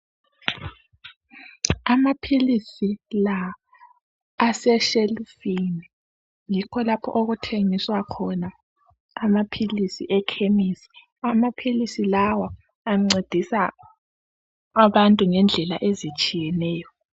amaphilisi la asetshelufini yikho lapho okuthengiswa khona amaphilisi ekhemisi amaphilisi lawa ancedisa abantu endlela ezitshiyeneyo